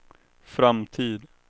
framtid